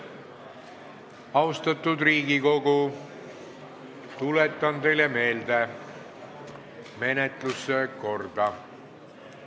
Austatud Riigikogu, tuletan teile meelde menetluse korda.